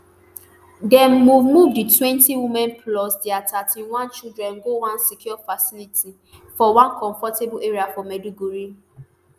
dem move move di twenty women plus dia thirty-one children go one secure facility for one comfortable area for maiduguri